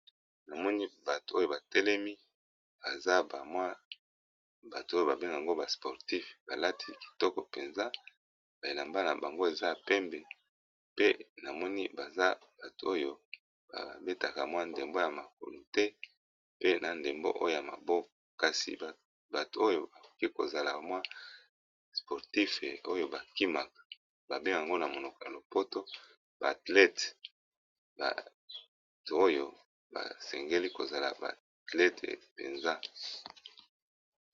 Na moni bato oyo batelemi baza bamwa bato oyo babengango basportif, balati kitoko mpenza baelamba na bango eza pembe pe na moni baza bato oyo babetaka mwa ndembo ya makolu te, pe na ndembo oyo ya maboko. Kasi bato oyo bakoki kozala mwa sportif oyo bakimaka babengango na monoko ya lopoto baathlete, bato oyo basengeli kozala baathlete mpenza.